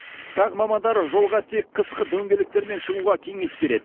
тағы мамандар жолға тек қысқы дөңгелектермен шығуға кеңес береді